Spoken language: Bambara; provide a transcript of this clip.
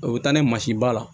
O bɛ taa ni mansin ba la